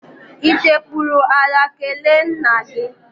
I sekpuru ala kelee nna gị?